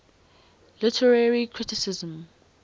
literary criticism